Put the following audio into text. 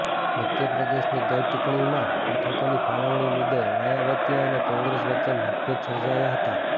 મધ્યપ્રદેશની ગત ચૂંટણીમાં બેઠકોની ફાળવણી મુદ્દે માયાવતી અને કોંગ્રેસ વચ્ચે મતભેદ સર્જાયા હતા